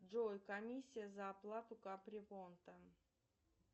джой комиссия за оплату капремонта